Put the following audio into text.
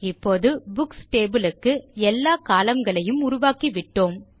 இப்போது books table க்கு எல்லா கோலம்ன் களையும் உருவாக்கிவிட்டோம்